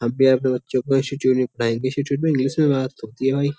हम भी अपने बच्चों को इंस्टिट्यूट में पढ़ाएंगे इंस्टिट्यूट में इंग्लिश में बात होती है भाई।